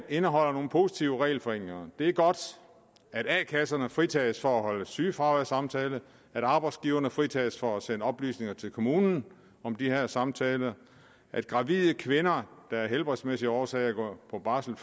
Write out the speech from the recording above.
indeholder nogle positive regelforenklinger det er godt at a kasserne fritages for at holde sygefraværssamtale at arbejdsgiveren fritages for at sende oplysninger til kommunerne om de her samtaler at gravide kvinder der af helbredsmæssige årsager går på barsel